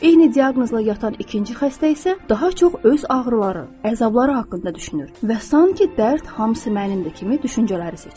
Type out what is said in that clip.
Eyni diaqnozla yatan ikinci xəstə isə daha çox öz ağrıları, əzabları haqqında düşünür və sanki dərd hamısı mənimdir kimi düşüncələri seçir.